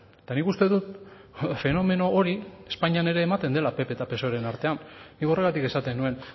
eta nik uste dut fenomeno hori espainian ere ematen dela pp eta psoeren artean nik horregatik esaten nuen